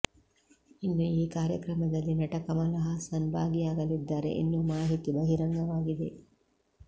ಇನ್ನು ಈ ಕಾರ್ಯಕ್ರಮದಲ್ಲಿ ನಟ ಕಮಲ್ ಹಾಸನ್ ಭಾಗಿಯಾಗಲಿದ್ದಾರೆ ಎನ್ನುವ ಮಾಹಿತಿ ಬಹಿರಂಗವಾಗಿದೆ